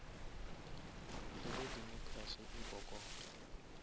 le ge democracy e kokota